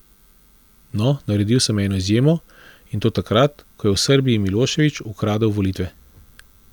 No, naredil sem eno izjemo, in to takrat, ko je v Srbiji Milošević ukradel volitve.